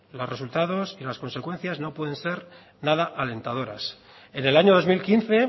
los resultados y las consecuencias no pueden ser nada alentadoras en el año dos mil quince